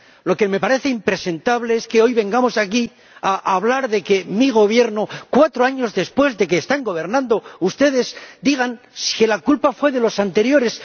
Lo que me parece impresentable es que hoy vengamos aquí a hablar de mi Gobierno —cuatro años después de que están gobernando ustedes— y digan que la culpa fue únicamente de los anteriores.